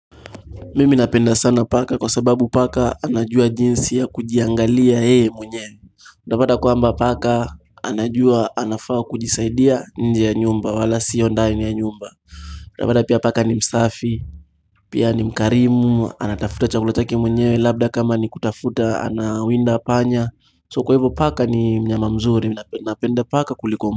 Mimi napenda sana paka kwa sababu paka anajua jinsi ya kujiangalia mwenye Utapata kwamba paka anajua anafaa kujisaidia nje ya nyumba wala sio ndani ya nyumba Utapata pia paka ni msafi, pia ni mkarimu, anatafuta chakulotaki mwenyewe labda kama nikutafuta anawinda panya So kwa hivyo paka ni mnyama mzuri, napenda paka kuliko.